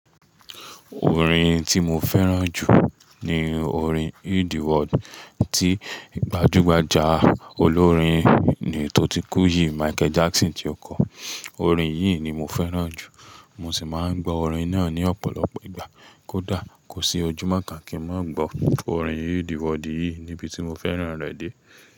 Orin tí mo fẹ́ràn jù ni orin Heal the World tí gbajúgbajà olórin ni tó ti kú yìí, Michael Jackson ti o kọ. Orin yìí ni mo fẹ́ràn jù. Mo sì máa ń gbọ orin náà ní ọ̀pọ̀lọpọ̀ ìgbà. Kódà kò sí ojúmọ́ kan kí n má gbọ́ orin Heal the World yìí níbi tí mo fẹ́ràn rẹ̀ dé.